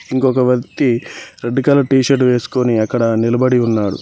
ఇంకొక వ్యక్తి red colour T shirt వేసుకొని అక్కడ నిలబడి ఉన్నాడు.